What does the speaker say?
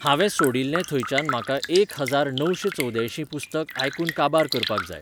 हांवें सोडील्लें थंयच्यान म्हाका एक हजार णवशें चौद्यायशाीं पुस्तक आयकुन काबार करपाक जाय